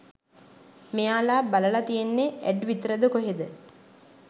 මෙයාලා බලල තියෙන්නෙ ඇඩ් විතරද කොහෙද